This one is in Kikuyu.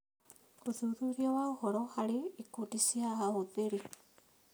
ũthuthuria wa ũhoro harĩ ikundi cia ahũthĩri